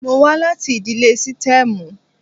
Mo wá láti ìdílé sítẹ́ẹ́mù.